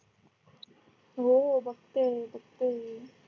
हो बघतेय बघतेय